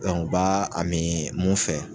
u ba a min mun fɛ.